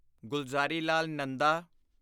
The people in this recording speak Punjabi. ਗੁਲਜ਼ਾਰੀਲਾਲ ਨੰਦਾ